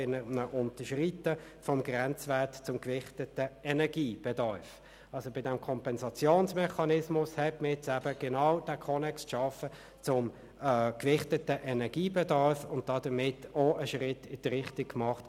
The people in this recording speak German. Der zweite grössere Themenkomplex betrifft den Bereich der Eigenstromerzeugung bei Neubauten, Artikel 39a.